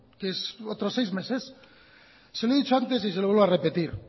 que es otros seis meses se lo he dicho antes y se lo vuelvo a repetir